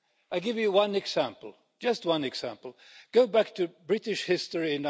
I'll give you one example, just one example. Go back in British history to